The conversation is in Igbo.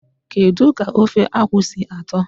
Kedu ka ofe akwu si ato?